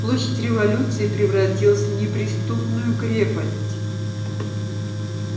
площадь революции превратилась в неприступную крепость